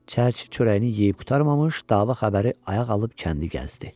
Çərçi çörəyini yeyib qurtarmamış, dava xəbəri ayaq alıb kəndi gəzdi.